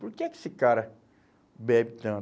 Por que é que esse cara bebe tanto?